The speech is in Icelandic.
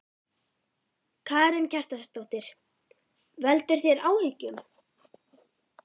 Karen Kjartansdóttir: Veldur þetta þér áhyggjum?